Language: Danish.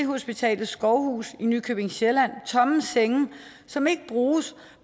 hospital skovhus i nykøbing sjælland tomme senge som ikke bruges